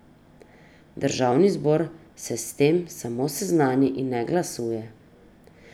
Državni zbor se s tem samo seznani in ne glasuje.